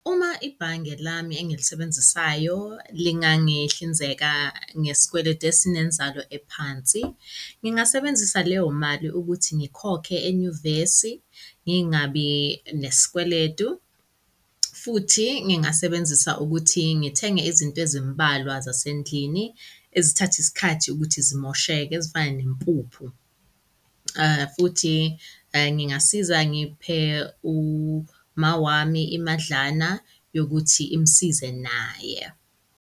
Uma ibhange lami engilisebenzisayo lingangihlinzeka ngesikweletu esinenzalo ephansi ngingasebenzisa leyo mali ukuthi ngikhokhe enyuvesi, ngingabi nesikweledu. Futhi ngingasebenzisa ukuthi ngithenge izinto ezimbalwa zasendlini ezithatha isikhathi, ukuthi zimosheke ezifana nempuphu. Futhi ngingasiza ngiphe umawami imadlana yokuthi imsize naye.